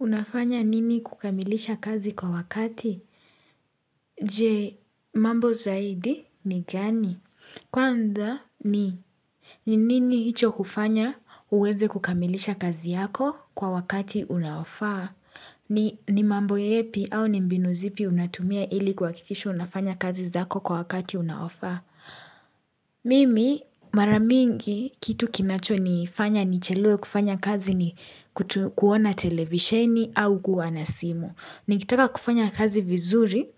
Unafanya nini kukamilisha kazi kwa wakati? Je, mambo zaidi ni gani? Kwanza ni. Ni nini hicho hufanya uweze kukamilisha kazi yako kwa wakati unaofaa? Ni mambo yepi au ni mbinu zipi unatumia ili kuhakikisha unafanya kazi zako kwa wakati unaofaa? Mimi mara mingi kitu kinachonifanya nichelewe kufanya kazi ni kuona televisheni au kuwa na simu. Nikitaka kufanya kazi vizuri